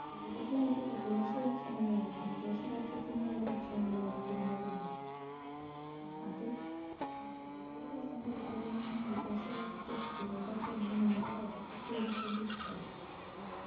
കൂടുതൽ ആയിട്ടും വിദേശ ഭക്ഷണങ്ങളയിരിക്കും വിദേശ രാജ്യത്തിൽ നിന്നുള്ള ഭക്ഷണങ്ങൾ ആയിരിക്കും നമ്മള് കാണാ അത് ഓരോ ദിവസം കൂടുംതോറും ആ വിദേശ രാജ്യത്തെ food കളുടൊക്കെ എണ്ണം നമ്മള് രാജ്യത്തും കൂടി കൊണ്ടിരിക്കുകയാണ്